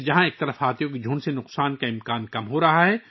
ایک طرف، یہ ہاتھیوں کے ریوڑ سے ہونے والے نقصان کے امکان کو کم کرتا ہے